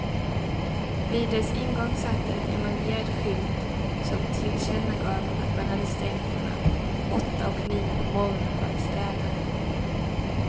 Vid dess ingång satt en emaljerad skylt som tillkännagav att man hade stängt mellan åtta och nio på morgonen för att städa.